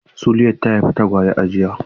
Suliat ta haifi tagwaye a jiya.